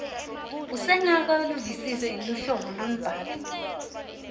usengakaluvisisi luhlobo lwembhalo